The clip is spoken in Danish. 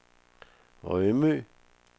Rømø